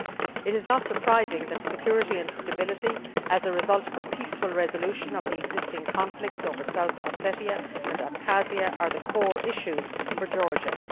It is not surprising that security and stability, as a result of a peaceful resolution of the existing conflicts over South Ossetia and Abkhazia, are the core issues for Georgia.